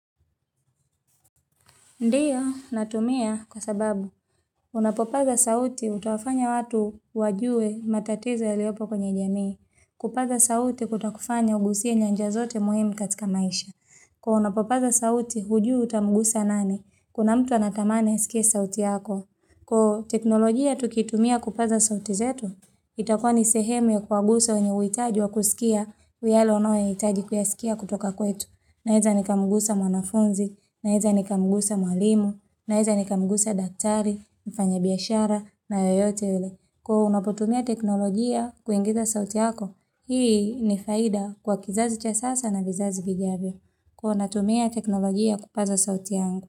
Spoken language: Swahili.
Ndiyo, natumia kwa sababu. Unapopaza sauti utawafanya watu wajue matatizo yaliopo kwenye jamii. Kupaza sauti kutakufanya ugusie nyanja zote muhimu katika maisha. Kuwa unapopaza sauti hujui utamugusa nani? Kuna mtu anathamani asikie sauti yako. Kwa teknolojia tukitumia kupaza sauti zetu, itakuwa ni sehemu ya kuwagusa wenye uhitaji wa kusikia, yalo ono ya hitaji kuyasikia kutoka kwetu. Naeza nikamugusa mwanafunzi, naeza nikamugusa mwalimu, naeza nikamugusa daktari, mfanya biashara na yoyote yule. Kwa hivo unapotumia teknolojia kuingiza sauti yako, hii ni faida kwa kizazi cha sasa na vizazi vijavyo. Kuwa natumia teknolojia kupaza sauti yangu.